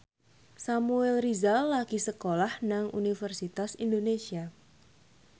Samuel Rizal lagi sekolah nang Universitas Indonesia